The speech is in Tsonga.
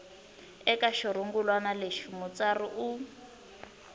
eka xirungulwana lexi mutsari u